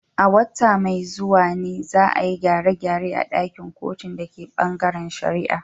A wata mai zuwa ne, za a yi gyare-gyare a ɗakin kotun da ke bangaren shari’a.